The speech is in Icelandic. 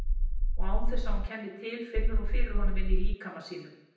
Og án þess að hún kenni til finnur hún fyrir honum inní líkama sínum.